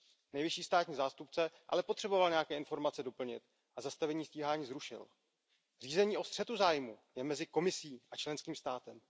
Nejvyšší státní zástupce ale potřeboval nějaké informace doplnit a zastavení stíhání zrušil. Řízení o střetu zájmů je mezi Komisí a členským státem.